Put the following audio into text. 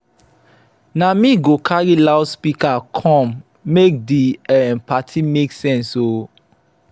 na me go carry loudspeaker come make di um party make sense o.